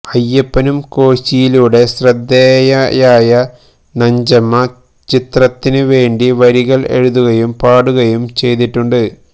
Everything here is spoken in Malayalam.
അയ്യപ്പനും കോശിയിലൂടെ ശ്രദ്ധേയയായ നഞ്ചമ്മ ചിത്രത്തിന് വേണ്ടി വരികള് എഴുതുകയും പാടുകയും ചെയ്തിട്ടുണ്ട്